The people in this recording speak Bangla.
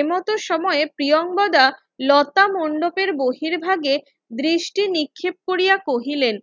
এমতো সময় প্রিয়াঙ্গদা লতা মণ্ডপের বহির্ভাগে দৃষ্টি নিক্ষেপ কোরিয়া কহিলেন